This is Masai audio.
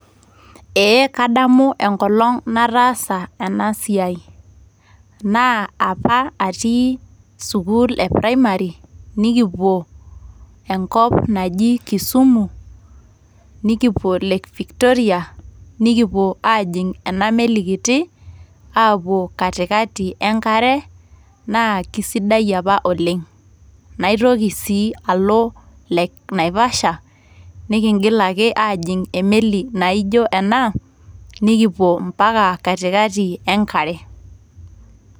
Ee kadamu enkolong nataasa ena siai naa apa atii sukuul e primary nikipuo enkop naji Kisumu ,nikipuo lake Victoria nikipuo ajing ena meli kiti apuo katikati enkare naa kisidai apa oleng .naitoki sii Alo lake naivasha nikingil ake ajing emeli naijo ena nikipuo Impaka katikati enkare .